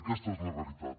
aquesta és la realitat